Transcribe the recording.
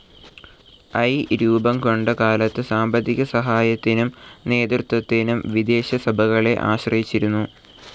I രൂപംകൊണ്ട കാലത്തു സാമ്പത്തിക സഹായത്തിനും നേതൃത്വത്തിനും വിദേശസഭകളെ ആശ്രയിച്ചിരുന്നു.